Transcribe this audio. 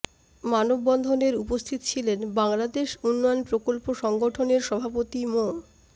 মানববন্ধনের উপস্থিত ছিলেন বাংলাদেশ উন্নয়ন প্রকল্প সংগঠনের সভাপতি মো